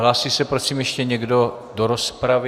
Hlásí se prosím ještě někdo do rozpravy?